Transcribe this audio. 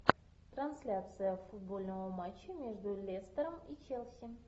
трансляция футбольного матча между лестером и челси